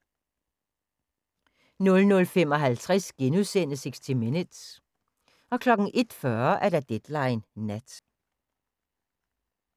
00:55: 60 Minutes * 01:40: Deadline Nat